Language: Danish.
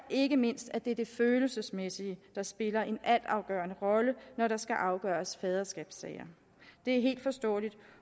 ikke mindst er det det følelsesmæssige der spiller en altafgørende rolle når der skal afgøres faderskabssager det er helt forståeligt